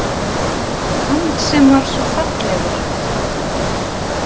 Hann sem var svo fallegur.